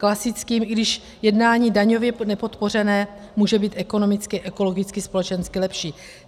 Klasickým, i když jednání daňově nepodpořené, může být ekonomicky, ekologicky, společensky lepší.